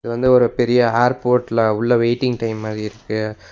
இது வந்து ஒரு பெரிய ஏர்போர்ட்ல உள்ள வெயிட்டிங் டைம் மாரி இருக்கு.